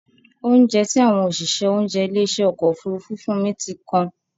Óunjẹ tí àwọn òṣìṣẹ́ oúnjẹ ilé ìṣe ọkọ̀ Òfurufú fún mi ti kan.